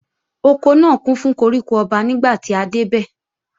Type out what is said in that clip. Oko náà kún fún koríko ọba nígbàtí a dé bẹ̀